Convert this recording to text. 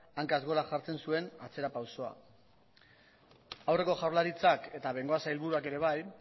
hankaz gora jartzen zuen atzerapausoa aurreko jaurlaritzak eta bengoa sailburuak ere bai